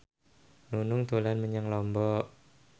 Nunung dolan menyang Lombok